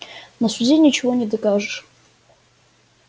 на суде ничего не докажешь